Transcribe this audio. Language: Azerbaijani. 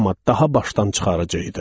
Amma daha başdan çıxarıcı idi.